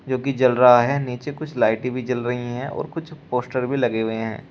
जो कि जल रहा है नीचे कुछ लाइटें भी जल रही हैं और कुछ पोस्टर भी लगे हुए हैं।